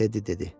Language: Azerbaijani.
Teddy dedi.